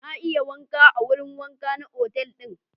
Na iya wanka a wurin wanka na otal ɗin.